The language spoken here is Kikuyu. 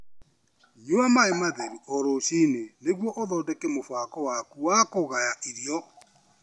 Nyua maĩ matheru o rũcinĩ nĩguo ũthondeke mũbango waku wa kũgaya irio.